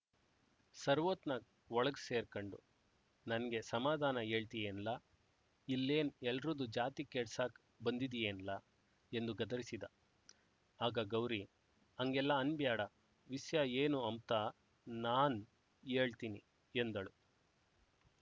ಸರ್‍ವೊತ್ನಾಗ್ ಒಳುಗ್ ಸೇರ್ಕಂಡು ನಂಗೇ ಸಮಾಧಾನ ಯೇಳ್ತಿಯೇನ್ಲ ಇಲ್ಲೇನ್ ಎಲ್ರೂದು ಜಾತಿ ಕೆಡ್ಸಾಕ್ ಬಂದಿದ್ದೀಯೇನ್ಲ ಎಂದು ಗದರಿಸಿದ ಆಗ ಗೌರಿ ಅಂಗೆಲ್ಲ ಅನ್‍ಬ್ಯಾಡ ವಿಸ್ಯ ಏನು ಅಂಬ್ತ ನಾನ್ ಯೇಳ್ತೀನಿ ಎಂದಳು